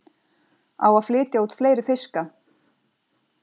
Á að flytja út fleiri fiska